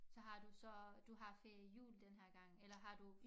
Så har du så du har ferie i jul den her gang eller har du